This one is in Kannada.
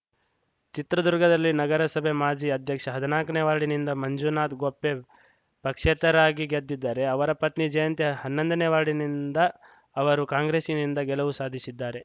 ಚಿತ್ರದುರ್ಗದಲ್ಲಿ ನಗರಸಭೆ ಮಾಜಿ ಅಧ್ಯಕ್ಷ ಹದ್ನಾಕನೇ ವಾರ್ಡಿನಿಂದ ಮಂಜುನಾಥ ಗೊಪ್ಪೆ ಪಕ್ಷೇತರಾಗಿ ಗೆದ್ದಿದ್ದರೆ ಅವರ ಪತ್ನಿ ಜಯಂತಿ ಹನ್ನೊಂದನೇ ವಾರ್ಡಿನಿಂದ ಅವರು ಕಾಂಗ್ರೆಸ್‌ನಿಂದ ಗೆಲುವು ಸಾಧಿಸಿದ್ದಾರೆ